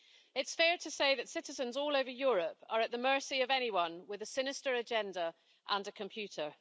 It's fair to say that citizens all over Europe are at the mercy of anyone with a sinister agenda and a computer.